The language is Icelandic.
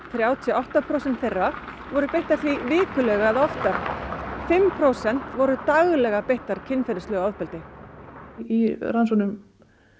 þrjátíu og átta prósent þeirra voru beittar því vikulega eða oftar fimm prósent voru daglega beittar kynferðislegu ofbeldi í rannsóknum